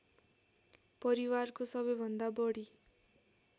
परिवारको सबैभन्दा बढी